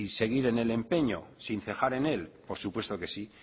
seguir en el empeño sin cejar en él por supuesto que sí